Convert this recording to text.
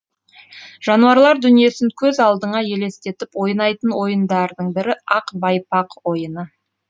жануарлар дүниесін көз алдыңа елестетіп ойнайтын ойындардың бірі ақ байпақ ойыны